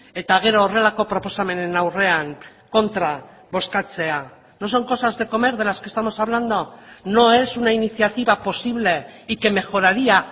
eta gero horrelako proposamenen aurrean kontra bozkatzea no son cosas de comer de las que estamos hablando no es una iniciativa posible y que mejoraría